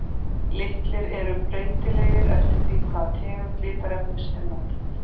Litir eru breytilegir eftir því hvaða tegund litarefnis er notað.